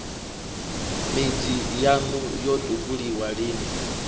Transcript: midzi yaṋu yo tupulwa lini